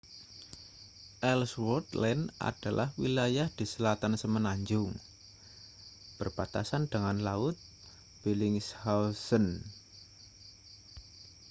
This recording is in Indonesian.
ellsworth land adalah wilayah di selatan semenanjung berbatasan dengan laut bellingshausen